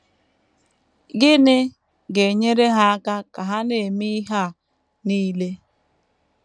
Gịnị ga - enyere ha aka ka ha na - eme ihe a nile?